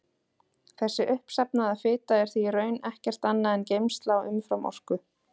Þessi uppsafnaða fita er því í raun ekkert annað en geymsla á umframorku.